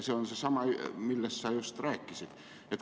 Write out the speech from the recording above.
See on seesama, millest sa just rääkisid.